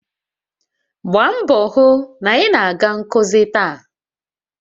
Gbaa mbọ hụ na ị na-aga nkuzi taa!